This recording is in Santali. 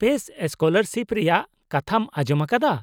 ᱼᱯᱮᱥ ᱥᱠᱚᱞᱟᱨᱥᱤᱯ ᱨᱮᱭᱟᱜ ᱠᱟᱛᱷᱟᱢ ᱟᱸᱡᱚᱢ ᱟᱠᱟᱫᱟ ?